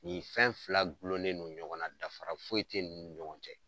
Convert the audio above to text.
Nin fɛn fila gulonnen no ɲɔgɔn na dafara foyi tɛ ninnu ni ɲɔgɔn cɛ.